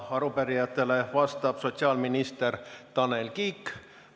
Arupärijatele vastab sotsiaalminister Tanel Kiik.